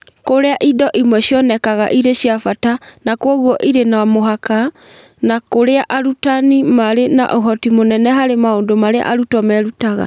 Kũrĩa indo imwe cionekaga irĩ cia bata na kwoguo irĩ no mũhaka, na kũrĩa arutani maarĩ na ũhoti mũnene harĩ maũndũ marĩa arutwo merutaga.